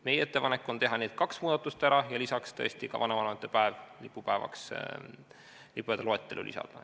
Meie ettepanek on teha need kaks muudatust ära ja lisaks muuta tõesti ka vanavanemate päev lipupäevaks, lisada lipupäevade loetellu.